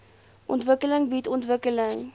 ontwikkeling bied ontwikkeling